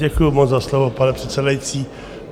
Děkuju moc za slovo, pane předsedající.